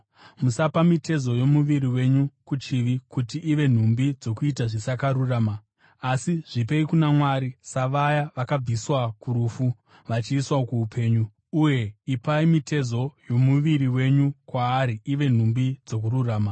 Musapa mitezo yomuviri wenyu kuchivi, kuti ive nhumbi dzokuita zvisakarurama, asi zvipei kuna Mwari, savaya vakabviswa kurufu vachiiswa kuupenyu; uye ipai mitezo yomuviri wenyu kwaari ive nhumbi dzokururama.